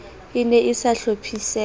e ne e sa hlophiseha